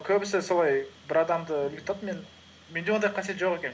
көбісі солай бір адамды менде ондай қасиет жоқ екен